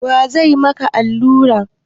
Waye zai maka allura?